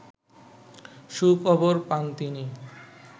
সুখবর পান তিনি